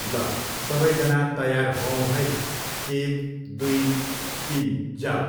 ल सबैजना तयार होऔँ है, एक दुई तिन, जाऊ!